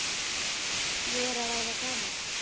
Ég er að verða gamall.